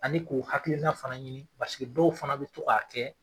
Ani k'u hakilina fana ɲini paseke dɔw fana bi to a kɛ